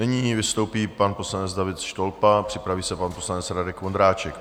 Nyní vystoupí pan poslanec David Štolpa, připraví se pan poslanec Radek Vondráček.